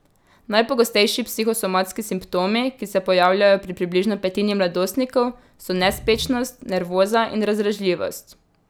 Najpogostejši psihosomatski simptomi, ki se pojavljajo pri približno petini mladostnikov, so nespečnost, nervoza in razdražljivost.